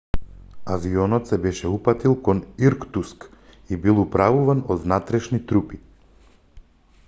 авионот се беше упатил кон иркутск и бил управуван од внатрешни трупи